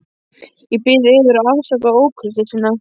Ég bið yður að afsaka ókurteisina.